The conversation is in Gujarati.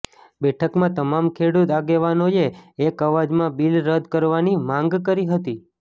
બેઠકમાં તમામ ખેડૂત આગેવાનોએ એક અવાજમાં બિલ રદ કરવાની માંગ કરી હતી